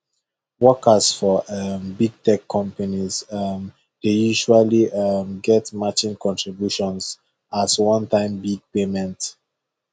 workers for um big tech companies um dey usually um get matching contributions as onetime big payment